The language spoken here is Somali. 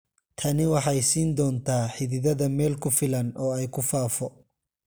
Tani waxay siin doontaa xididdada meel ku filan oo ay ku faafo.